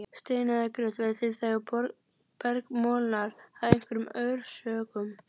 Steinar eða grjót verða til þegar berg molnar af einhverjum orsökum.